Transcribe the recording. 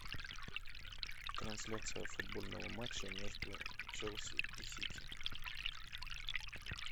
трансляция футбольного матча между челси и сити